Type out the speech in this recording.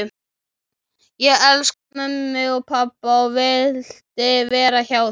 Ég elskaði mömmu og pabba og vildi vera hjá þeim.